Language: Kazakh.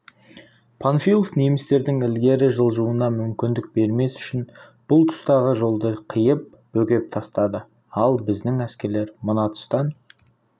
панфилов немістердің ілгері жылжуына мүмкіндік бермес үшін бұл тұстағы жолды қиып бөгеп тастады ал біздің әскерлер мына тұстан